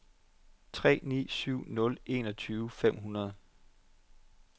tre ni syv nul enogtyve fem hundrede